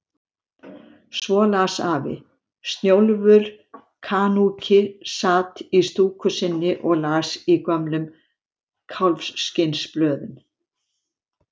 Svo las afi: Snjólfur kanúki sat í stúku sinni og las í gömlum kálfskinnsblöðum.